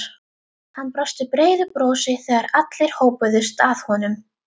Hann brosti breiðu brosi þegar allir hópuðust að honum.